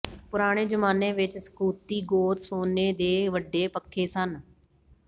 ਪੁਰਾਣੇ ਜ਼ਮਾਨੇ ਵਿਚ ਸਕੂਥੀ ਗੋਤ ਸੋਨੇ ਦੇ ਵੱਡੇ ਪੱਖੇ ਸਨ